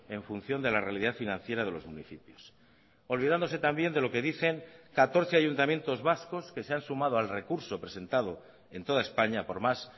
en función de la realidad financiera de los municipios olvidándose también de lo que dicen catorce ayuntamientos vascos que se han sumado al recurso presentado en toda españa por más